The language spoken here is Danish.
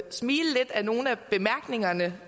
smile lidt ad nogle af bemærkningerne